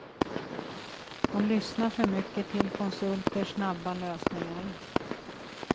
De lyssnar för mycket till konsulters snabba lösningar.